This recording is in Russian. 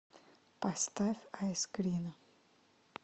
поставь айскрина